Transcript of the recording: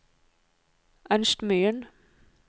Ernst Myhren